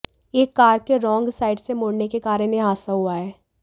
एक कार के wrong side से मुडऩे के कारण यह हादसा हुआ है